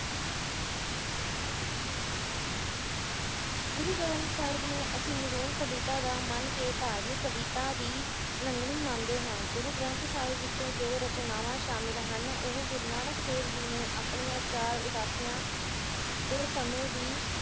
ਗੁਰੂ ਗ੍ਰੰਥ ਸਾਹਿਬ ਨੂੰ ਅਸੀਂ ਨਿਰੋਲ ਕਵਿਤਾ ਦਾ ਮੰਨ ਕੇ ਧਾਰਮਿਕ ਕਵਿਤਾ ਦੀ ਉਲੰਘਣੀ ਮੰਨਦੇ ਹਾਂ ਗੁਰੂ ਗ੍ਰੰਥ ਸਾਹਿਬ ਵਿਚ ਜੋ ਰਚਨਾਵਾਂ ਸ਼ਾਮਿਲ ਹਨ ਉਹ ਗੁਰੂ ਨਾਨਕ ਦੇਵ ਜੀ ਨੇ ਆਪਣੀਆਂ ਚਾਰ ਉਦਾਸੀਆਂ ਦੇ ਸਮੇ ਦੀ